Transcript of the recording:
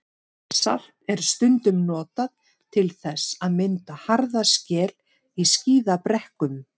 Salt er stundum notað til þess að mynda harða skel í skíðabrekkum.